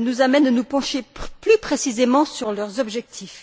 nous amènent à nous pencher plus précisément sur leurs objectifs.